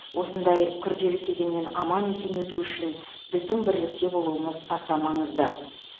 осындай күрделі кезеңнен аман есен өтуі үшін біздің бірлікте болуымыз аса маңызды